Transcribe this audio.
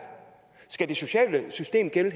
skal det sociale system gælde